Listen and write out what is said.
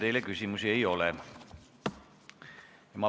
Teile küsimusi ei ole.